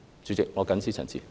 主席，我謹此陳辭。